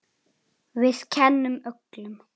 Við kennum öllum.